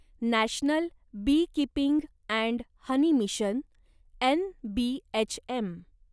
national beekeeping and honey mission NBHM